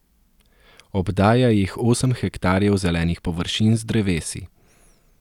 Obdaja jih osem hektarjev zelenih površin z drevesi.